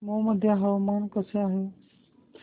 मौ मध्ये हवामान कसे आहे